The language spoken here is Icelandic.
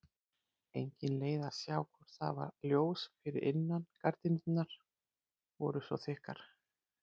Engin leið að sjá hvort það var ljós fyrir innan, gardínurnar voru svo þykkar.